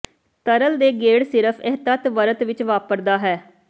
ਤਰਲ ਦੇ ਗੇੜ ਸਿਰਫ ਇਹ ਤੱਤ ਵਰਤ ਵਿੱਚ ਵਾਪਰਦਾ ਹੈ